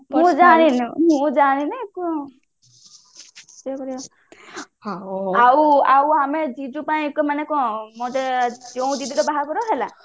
ତୁ ଜାଣିନୁ ମୁ ଜାଣିନି ଆଉ ଆମେ ଜିଜୁ ପାଇଁ ମାନେ କଣ